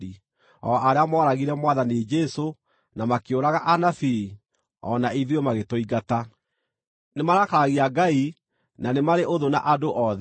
o arĩa mooragire Mwathani Jesũ, na makĩũraga anabii, o na ithuĩ magĩtũingata. Nĩmarakaragia Ngai, na nĩ marĩ ũthũ na andũ othe